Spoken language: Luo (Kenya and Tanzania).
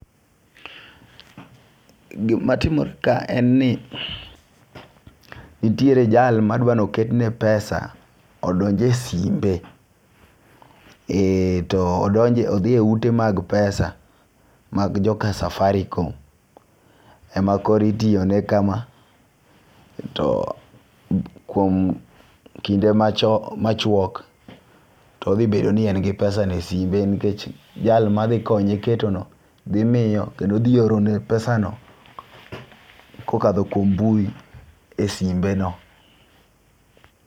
Gima timore ka en ni nitiere jal madwano ketne pesa odonje simbe . To odonje odhi e ute mag pesa mag jo ka safarikom e ma kori tiyo ne kama to kuom kinde macho machuok to dhi bedo ni en gi pesa no e simbe nikech , jal madhi konye keto no dhi miyo kendo dhi oro ne pesa no kokadho kuom mbui e simbe no .